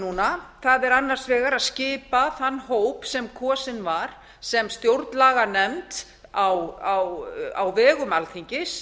núna það er annars vegar að skipa þann hóp sem kosinn var sem stjórnlaganefnd á vegum alþingis